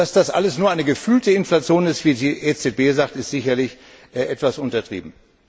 Dass das also alles nur eine gefühlte Inflation ist, wie die EZB sagt, ist sicherlich etwas untertrieben.